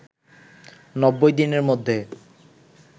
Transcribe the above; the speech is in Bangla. ৯০ দিনের মধ্যে